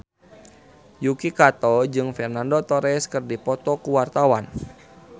Yuki Kato jeung Fernando Torres keur dipoto ku wartawan